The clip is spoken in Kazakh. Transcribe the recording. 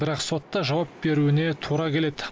бірақ сотта жауап беруіне тура келеді